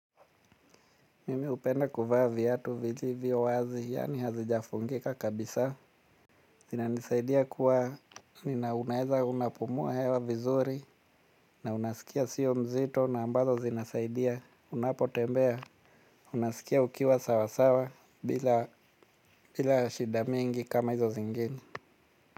Mimi hupenda kuvaa viatu vilivyo wazi yani hazijafungika kabisa. Zinanisaidia kuwa nina unaweza unapumua hewa vizuri. Na unasikia sio mzito na ambazo zinasaidia unapo tembea unasikia ukiwa sawa sawa bila shida mingi kama hizo zingine.